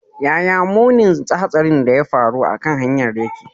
Yaya munin hatsarin da ya faru a kan hanyar yake?